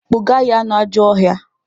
Kpụga ya n'ajọ ọhịa!